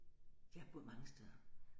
Jeg har boet mange steder